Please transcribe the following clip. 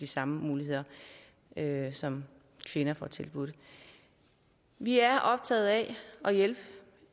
samme muligheder som kvinder får tilbudt vi er optaget af at hjælpe